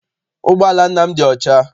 Ụgbọala nna m dị ọcha.